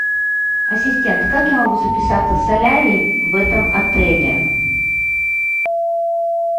ассистент как я могу записаться в солярий в этом отеле